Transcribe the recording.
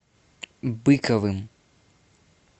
быковым